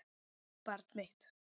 Barn mitt.